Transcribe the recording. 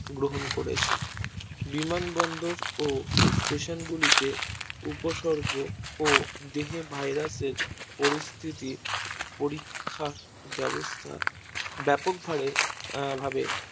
গ্রহণ করেছে বিমান বন্দর ও Station গুলিতে উপসর্গ ও দেহে virus এর পরিস্থিতি পরীক্ষার ব্যাবস্থা আহ ব্যাপকভারে ভাবে